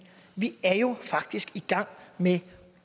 vi jo faktisk i gang med